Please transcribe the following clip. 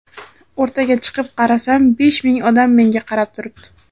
O‘rtaga chiqib qarasam besh ming odam menga qarab turibdi.